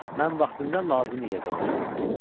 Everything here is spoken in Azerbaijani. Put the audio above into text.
Mən vaxtında lazımi yerdə olacağam.